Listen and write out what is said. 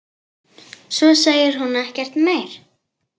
Svo segir hún ekkert meir.